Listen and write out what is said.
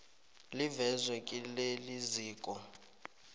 livezwe kileli ziko